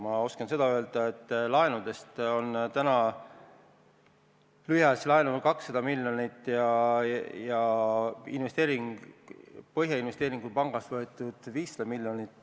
Ma oskan öelda seda, et laenudest on täna lühiajalist laenu 200 miljonit ja Põhjamaade Investeerimispangast võetud 500 miljonit.